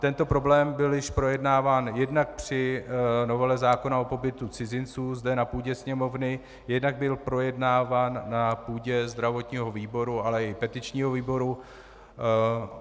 Tento problém byl již projednáván jednak při novele zákona o pobytu cizinců zde na půdě Sněmovny, jednak byl projednáván na půdě zdravotního výboru, ale i petičního výboru.